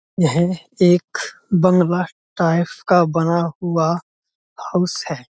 यह एक bungalow type का बना हुआ हाउस है।